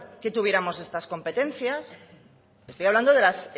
que tuviéramos estas competencias estoy hablando de las